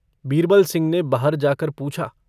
बीरबलसिंह ने बाहर जाकर पूछा।